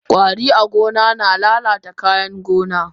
Kwari a gona na lalata kayan gona.